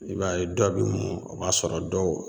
I b'a ye dɔ be mɔ o b'a sɔrɔ dɔw